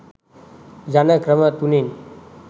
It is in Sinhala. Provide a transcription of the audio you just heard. යන ක්‍රම තුනෙන්